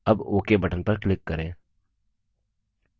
अब ok button पर click करें